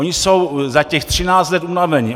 Oni jsou za těch 13 let unavení.